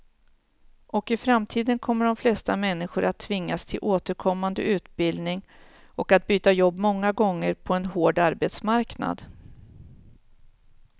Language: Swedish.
Och i framtiden kommer de flesta människor att tvingas till återkommande utbildning och att byta jobb många gånger på en hård arbetsmarknad.